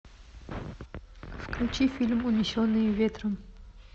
включи фильм унесенные ветром